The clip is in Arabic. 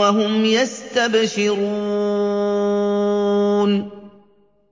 وَهُمْ يَسْتَبْشِرُونَ